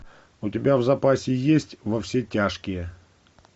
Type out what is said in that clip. у тебя в запасе есть во все тяжкие